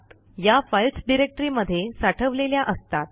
या फाईल्स डिरेक्टरीमध्ये साठवलेल्या असतात